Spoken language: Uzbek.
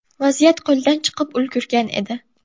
Vaziyat qo‘ldan chiqib ulgurgan edi.